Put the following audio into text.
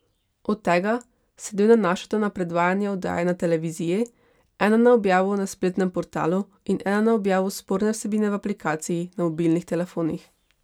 Od tega se dve nanašata na predvajanje oddaje na televiziji, ena na objavo na spletnem portalu in ena na objavo sporne vsebine v aplikaciji na mobilnih telefonih.